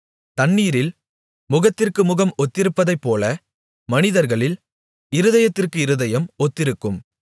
தண்ணீரில் முகத்திற்கு முகம் ஒத்திருப்பதைப்போல மனிதர்களில் இருதயத்திற்கு இருதயம் ஒத்திருக்கும்